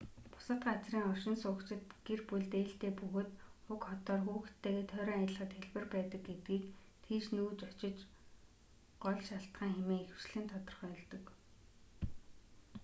бусад газрын оршин суугчид гэр бүлд ээлтэй бөгөөд уг хотоор хүүхдүүдтэйгээ тойрон аялахад хялбар байдаг гэдгийг тийш нүүж очих гол шалтгаан хэмээн ихэвчлэн тодорхойлдог